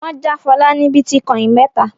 Wọn ja Fọlá ní bítíkọ́ìn mẹ́ta.